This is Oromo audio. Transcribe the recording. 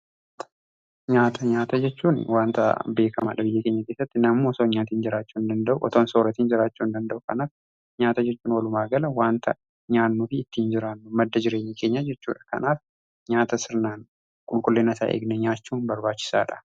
nyaata jechuun waanta beekamaa lubbuun keenya teessatti namoo osoon nyaatiin jiraachuu hin danda'u. Otoon sooratiin jiraachuu hin danda'u kanaaf nyaata jechuun wolumaagala wanta nyaannu fi ittiin jiraannu madda jireenya keenya jechudha. Kanaaf nyaata sirnaan qulqullina isaa eegne nyaachuun barbaachisaadha.